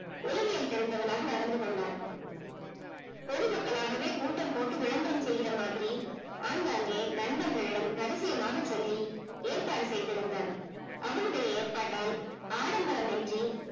உளவியல் தெரிந்தவனாக நடந்து கொண்டான் பொதுமக்கள்ளாகவே கூட்டம் போட்டு விளம்பரம் செய்யுர மாதிரி ஆங்காங்கே நண்பர்களிடம் ரகசியமாக சொல்லி ஏற்பாடு செய்திருந்தான் அவனுடைய ஏற்பட்டால் ஆடம்பரம்யின்றி